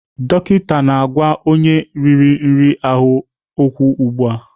Dọkịta na-agwa onye nri riri ahụ okwu ugbu a.